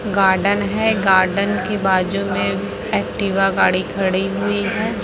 Garden है garden की बाजू में एक्टिवा गाड़ी खड़ी हुई है।